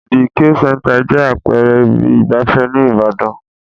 The K-Center jẹ́ àpẹẹrẹ ibi ìgbafẹ́ ní ìbàdàn.